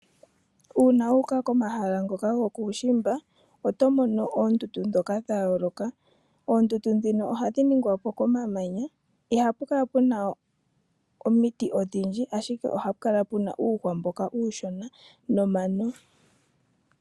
Uuna wu uka komahala ngoka gokuushimba, oto mono oondundu ndhoka dha yooloka. Oondundu ndhino ohadhi ningwa po komamanya. Ihapu kala pu na omiti odhindji, ashike ohapu kala pu na uuhwa mboka uushona nomano.